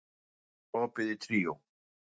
Júlí, er opið í Tríó?